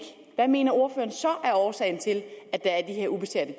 hvad mener ordføreren så er årsagen til at der er de her ubesatte